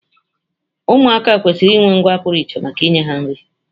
Ụmụaka kwesịrị inwe ngwa pụrụ iche maka inye ha nri